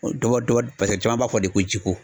Dɔ bɔ paseke caman b'a fɔ de ko jiko.